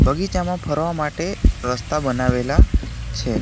બગીચામાં ફરવા માટે રસ્તા બનાવેલા છે.